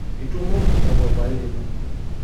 Itumomo o papai lino.